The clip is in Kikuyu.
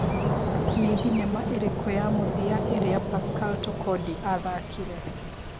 nĩ thinema ĩrikũ ya mũthia ĩria pascal Tokodi athakĩre